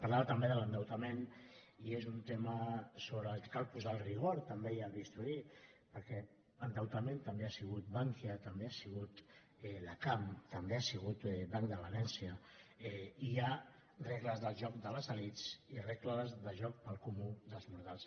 parlava també de l’endeutament i és un tema sobre el qual cal posar el rigor també i el bisturí perquè endeutament també ha sigut bankia també ha sigut la cam també ha sigut banc de valència i hi ha regles del joc de les elits i regles de joc per al comú dels mortals